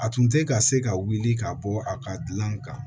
A tun tɛ ka se ka wuli ka bɔ a ka gilan kan